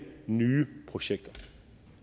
nye projekter